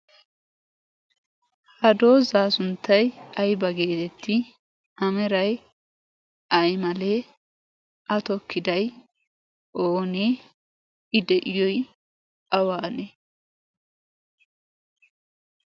ha doozaa sunttai aiba geetetti? amerai aimalee? a tokkidai oonee? i de7iyoi awaanee?